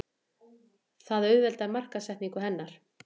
Það auðveldar markaðssetningu hennar.